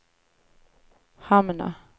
hamna